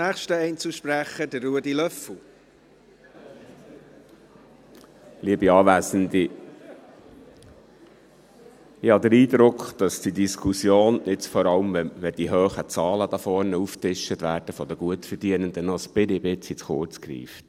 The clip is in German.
Ich habe den Eindruck, dass diese Diskussion, vor allem, wenn hier vorne diese hohen Zahlen der Gutverdienenden aufgetischt werden, noch ein bisschen zu kurz greift.